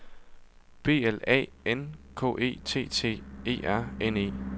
B L A N K E T T E R N E